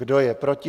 Kdo je proti?